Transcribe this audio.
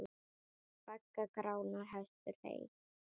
Baggar Grána hestur heys.